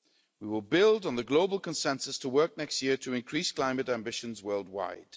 We will build on the global consensus to work next year to increase climate ambitions worldwide.